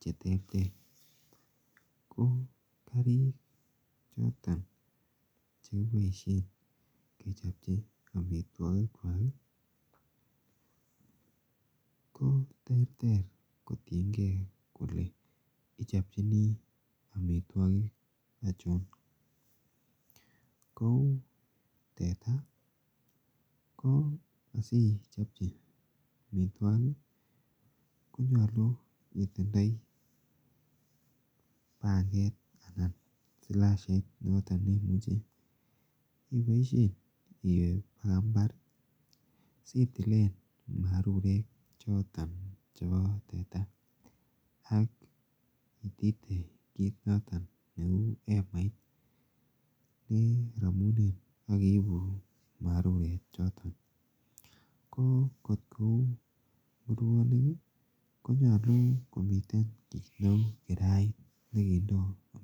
chetertere. Kouu karik choton chekiboisien ketienge kole ichobchini amituakik achon, kouu teta ko asichobchi amituakik koyache itindai panget anan silashait, koimuch ih iwe baka imbar ih sitilen marurek choton chebo teta akitite kit noton neuu emait neraminen akiibu marurek choton ko kot kouu nguronik ihkonyalu itinye kirait.